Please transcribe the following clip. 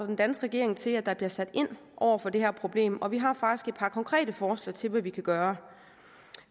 den danske regering til at der bliver sat ind over for det her problem og vi har faktisk et par konkrete forslag til hvad man kan gøre